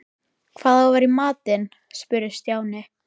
Hvað á að vera í matinn? spurði Stjáni.